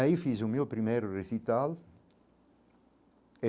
Aí fiz o meu primeiro recital.